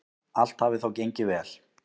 Allt hafi þó gengið vel.